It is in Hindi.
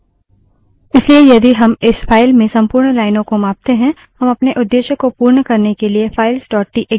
इसलिए यदि हम इस file में संपूर्ण लाइनों को मापते हैं हम अपने उद्देश्य को पूर्ण करने के लिए files dot TXT files txt का उपयोग कर सकते हैं